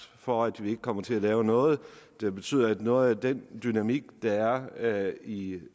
for at vi ikke kommer til at lave noget der betyder at noget af den dynamik der er er i